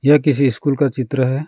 यह किसी स्कूल का चित्र है।